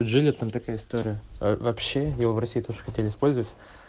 жили там такая история вообще её в россии тоже хотели использовать